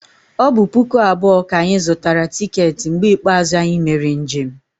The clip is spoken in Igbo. O bu puku abuo ka anyi zutara ticket mgbe ikpeazu anyi mere njem